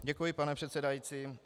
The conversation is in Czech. Děkuji, pane předsedající.